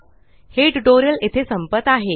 हे ट्यूटोरियल येथे संपत आहे